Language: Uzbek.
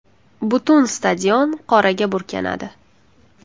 Butun stadion qoraga burkanadi.